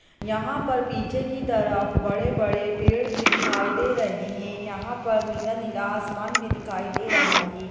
यहां पर पीछे की तरफ बड़े-बड़े पेड़ भी दिखाई दे रहे हैं यहां पर नीला-नीला आसमान भी दिखाई दे रहा है।